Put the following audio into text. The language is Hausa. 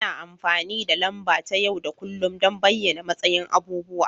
Ana amfani da lamba ta yau da kullun don bayyana matsayin abubuwa